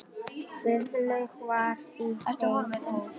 Guðlaug var í þeim hópi.